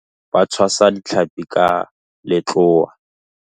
Batshwasi ba ditlhapi letsheng ba tshwasa ditlhapi ka letloa.